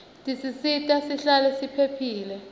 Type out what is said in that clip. tisisita sihlale siphilile